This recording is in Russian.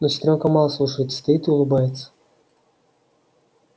но сестрёнка мало слушается стоит и улыбается